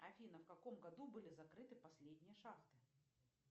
афина в каком году были закрыты последние шахты